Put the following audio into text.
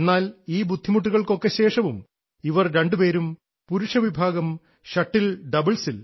എന്നാൽ ഈ ബുദ്ധിമുട്ടുകൾക്കൊക്കെ ശേഷവും ഇവർ രണ്ടുപേരും പുരുഷ വിഭാഗം ഷട്ടിൽ ഡബിൾസിൽ